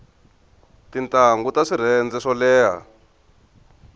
tintangu ta swirhenze swo leha